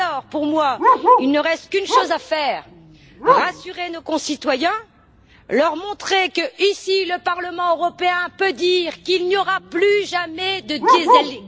Pour moi, il ne reste qu'une chose à faire rassurer nos concitoyens et leur montrer que le Parlement européen peut dire qu'il n'y aura plus jamais de Dieselgate.